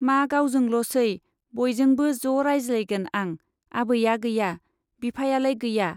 मा गावजोंल'सै , बयजोंबो ज' रायज्लायगोन आं। आबैया गैया ? बिफायालाय गैया ?